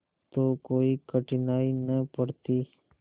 तो कोई कठिनाई न पड़ती